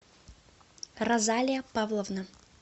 розалия павловна